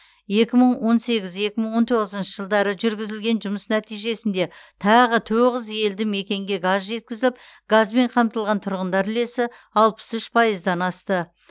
екі мың он сегіз екі мың он тоғызыншы жылдары жүргізілген жұмыс нәтижесінде тағы тоғыз елді мекенге газ жеткізіліп газбен қамтылған тұрғындар үлесі алпыс үш пайыздан асты